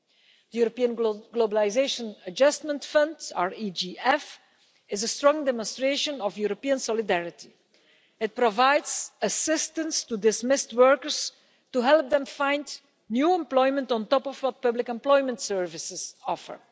The European Globalisation Adjustment Fund is a strong demonstration of European solidarity it provides assistance to dismissed workers to help them find new employment, on top of what public employment services offer.